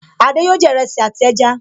Adé yòó jẹ iresi àti ẹja